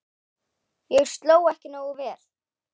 Ég sló ekki nógu vel.